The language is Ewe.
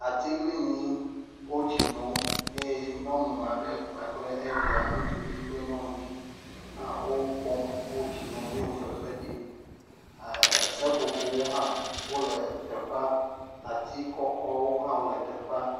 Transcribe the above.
Atiglinyi, wo tsi nom. Eye nyɔnu aɖe kpakple evia ŋutsuvi kple nyɔnuvi hã wo, wo kpɔm he wo tsi nom he fefe ɖim. ɛɛɛ seƒoƒowo hã le teƒea. Ati kɔkɔwo hã wole teƒea.